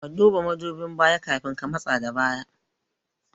Ka duba mudubin baya kafin ka matsa da baya